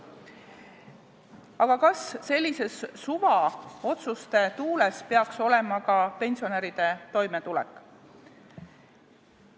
Aga kas sellises suvaotsuste tuules peaks olema ka pensionäride toimetulek?